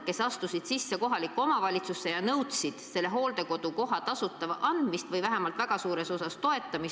Inimesed astusid kohalikku omavalitsusse sisse ja nõudsid hooldekodukoha nende jaoks tasuta andmist või vähemalt väga suures osas toetamist.